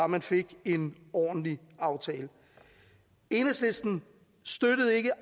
man fik en ordentlig aftale enhedslisten støttede ikke